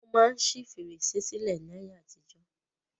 Wọ́n máa ń ṣi fèrèsé sílẹ̀ ni ayé àtijọ́.